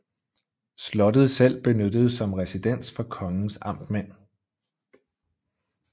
Slottet selv benyttedes som residens for kongens amtmænd